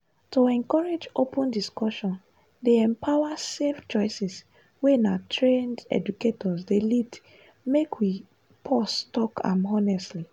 to encourage open discussions dey empower safe choices wey na trained educators dey lead make we pause talk am honestly.